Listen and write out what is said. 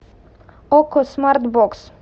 окко смарт бокс